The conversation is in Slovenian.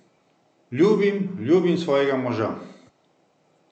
Ljubim, ljubim svojega moža.